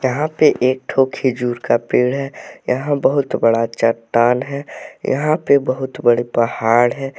यहां पे एक दो खजूर का पेड़ है यहां बहुत बड़ा चट्टान है यहां पे बहुत बड़े पहाड़ है।